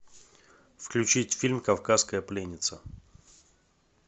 включить фильм кавказская пленница